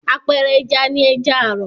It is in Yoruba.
Àpẹẹrẹ ẹja ni ẹja àrọ̀.